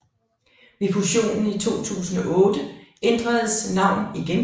Ved fusionen i 2008 ændres navn igen